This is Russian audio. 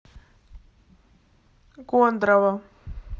кондрово